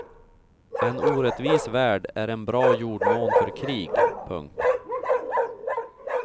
En orättvis värld är en bra jordmån för krig. punkt